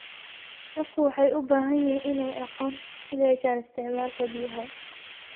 Dadku waxay u baahan yihiin inay aqoon u yeeshaan isticmaalka biyaha.